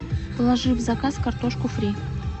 положи в заказ картошку фри